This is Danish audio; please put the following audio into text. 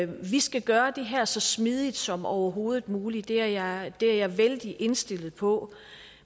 vi skal gøre det her så smidigt som overhovedet muligt det er jeg er jeg vældig indstillet på